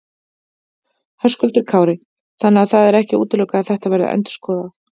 Höskuldur Kári: Þannig að það er ekki útilokað að þetta verði endurskoðað?